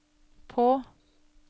på